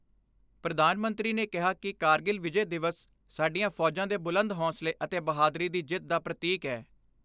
ਪ੍ਰਧਾਨ ਮੰਤਰੀ ਨੇ ਕਿਹਾ ਕਿ ਕਾਰਗਿਲ ਵਿਜੈ ਦਿਵਸ ਸਾਡੀਆਂ ਫੌਜਾਂ ਦੇ ਬੁਲੰਦ ਹੌਸਲੇ ਅਤੇ ਬਹਾਦਰੀ ਦੀ ਜਿੱਤ ਦਾ ਪ੍ਰਤੀਕ ਏ।